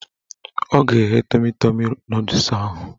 Ọ ga-egge tọmi tọmi nọdụs ahụ